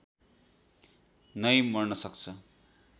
नै मर्न सक्छ